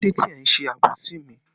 Kílódé tí ẹ ń ṣe àbòsí mi?